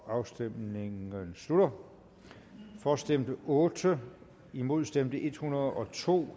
afstemningen slutter for stemte otte imod stemte en hundrede og to